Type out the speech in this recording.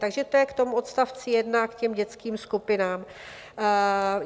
Takže to je k tomu odstavci 1 (?), k těm dětským skupinám.